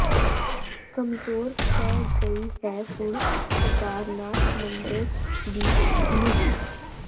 ਕਮਜ਼ੋਰ ਪੈ ਗਈ ਹੈ ਹੁਣ ਕੇਦਾਰਨਾਥ ਮੰਦਰ ਦੀ ਨੀਂਹ